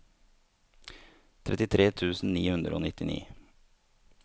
trettitre tusen ni hundre og nittini